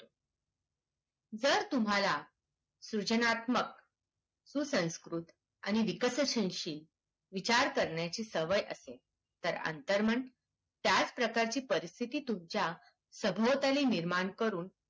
जर तुम्हाला सृजनात्मक सुसंकृत आणि विकसनशील विचार करण्याची सवय असेल तर अंतर्मन त्याच प्रकारची परिस्थिति तुमच्या सभोवताली निर्माण करून